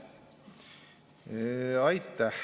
Aitäh!